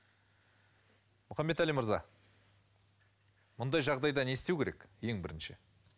мұхаммедәлі мырза мұндай жағдайда не істеу керек ең бірінші